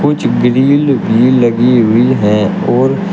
कुछ ग्रिल भी लगी हुई है और--